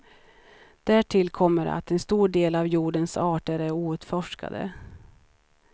Därtill kommer att en stor del av jordens arter är outforskade.